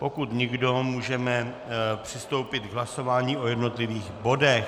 Pokud nikdo, můžeme přistoupit k hlasování o jednotlivých bodech.